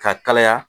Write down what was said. Ka kalaya